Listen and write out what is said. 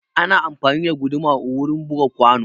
Ana amfani da guduma wurin buga kwano.